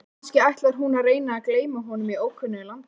Kannski ætlar hún að reyna að gleyma honum í ókunnu landi?